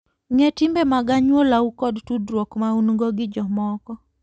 Ng'e timbe mag anyuolau kod tudruok ma un-go gi jomoko.